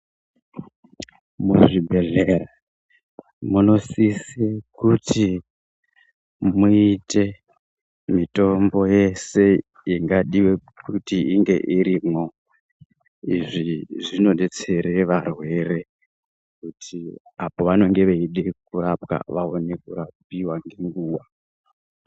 Muzvi bhedhleya muno sise kuti muite mitombo yese ingadiwe kuti inge irimwo. Izvi zvino detsere varwere kuti apo vanonge veide kurapwa, vaone kurapiwa ngenguwa.